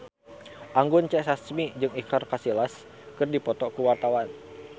Anggun C. Sasmi jeung Iker Casillas keur dipoto ku wartawan